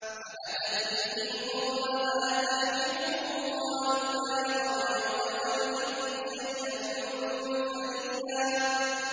فَأَتَتْ بِهِ قَوْمَهَا تَحْمِلُهُ ۖ قَالُوا يَا مَرْيَمُ لَقَدْ جِئْتِ شَيْئًا فَرِيًّا